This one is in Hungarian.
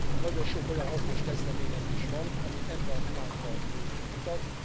Nagyon sok olyan hasznos kezdeményezés van, ami ebbe az irányba mutat.